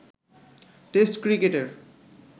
test ক্রিকেটের